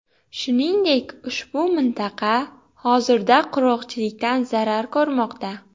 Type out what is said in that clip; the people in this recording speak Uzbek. Shuningdek, ushbu mintaqa hozirda qurg‘oqchilikdan zarar ko‘rmoqda.